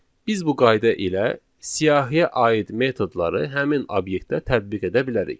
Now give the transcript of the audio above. Biz bu qayda ilə siyahıya aid metodları həmin obyektə tətbiq edə bilərik.